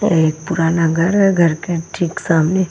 एक पुराना घर है घर के ठीक सामने --